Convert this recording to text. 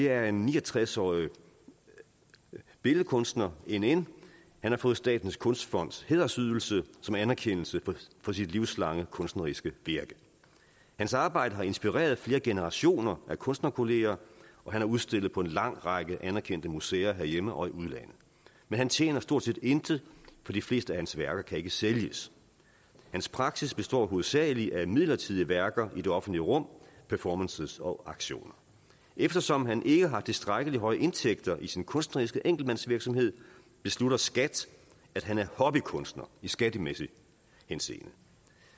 er en ni og tres årig billedkunster nn han har fået statens kunstfonds hædersydelse som anerkendelse for sit livslange kunstneriske virke hans arbejde har inspireret flere generationer af kunstnerkolleger og han har udstillet på en lang række anerkendte museer herhjemme og i udlandet men han tjener stort set intet for de fleste af hans værker kan ikke sælges hans praksis består hovedsagelig af midlertidige værker i det offentlige rum performances og aktioner eftersom han ikke har tilstrækkelig høje indtægter i sin kunstneriske enkeltmandsvirksomhed beslutter skat at han er hobbykunstner i skattemæssig henseende